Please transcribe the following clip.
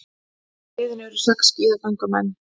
Í liðinu eru sex skíðagöngumenn